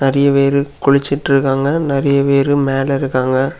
கீழ நிறைய பேர் குளிச்சிட்டு இருக்காங்க நிறைய பேர் மேல நின்னுட்டு இருக்காங்க.